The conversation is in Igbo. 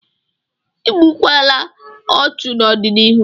Igbukwala ọchụ n'ọdịnihu!